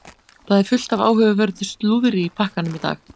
Það er fullt af áhugaverðu slúðri í pakkanum í dag.